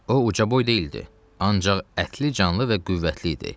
O ucaboy deyildi, ancaq ətli, canlı və qüvvətli idi.